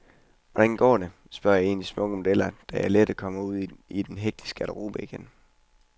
Hvordan går det, spørger en af de smukke modeller, da jeg lettet kommer ud i den hektiske garderobe igen.